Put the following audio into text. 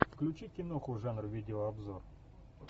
включи киноху жанр видеообзор